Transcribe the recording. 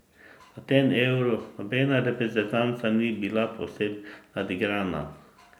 Na tem Euru nobena reprezentanca ni bila povsem nadigrana.